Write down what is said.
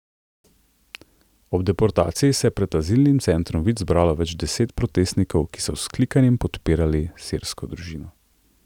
Ob deportaciji se je pred Azilnim centrom Vič zbralo več deset protestnikov, ki so z vzklikanjem podpirali sirsko družino.